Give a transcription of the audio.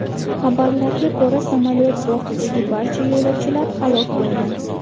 Xabarlarga ko‘ra, samolyot bortidagi barcha yo‘lovchilar halok bo‘lgan .